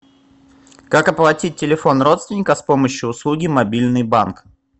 как оплатить телефон родственника с помощью услуги мобильный банк